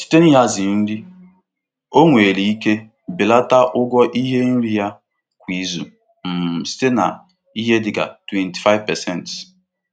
Mmefu ego nri kwa izu na-ebelata site na nhazi nri na ịzụrụ nnukwu ihe.